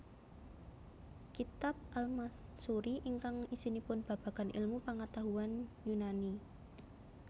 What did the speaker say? Kitab al Mansuri ingkang isinipun babagan ilmu pangatahuan Yunani